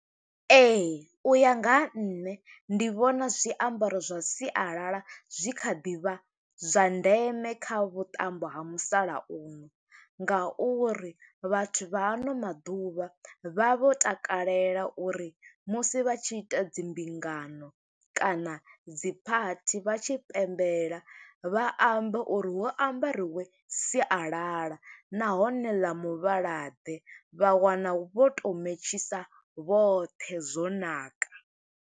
Ee, u ya nga ha nṋe ndi vhona zwiambaro zwa sialala, zwi kha ḓi vha zwa ndeme kha vhuṱambo ha musalauno, nga uri vhathu vha ano maḓuvha vha vho takalela uri musi vha tshi ita dzimbingano, kana dzi phathi, vha tshi pembelela vha ambe uri hu ambariwe sialala, nahone ḽa muvhala ḓe. Vha wana vho to mentshisa vhoṱhe, zwo ṋaka.